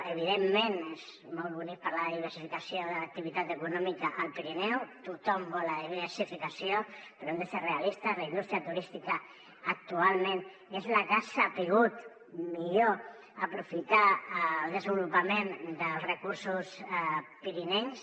evidentment és molt bonic parlar de diversificació de l’activitat econòmica al pirineu tothom vol la diversificació però hem de ser realistes la indústria turística actualment és la que ha sabut millor aprofitar el desenvolupament dels recursos pirinencs